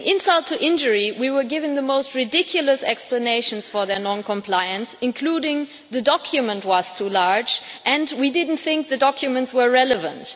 Adding insult to injury, we were given the most ridiculous explanations for their non-compliance, including the document was too large' and we didn't think the documents were relevant.'